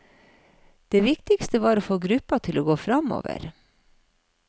Det viktigste var å få gruppa til å gå framover.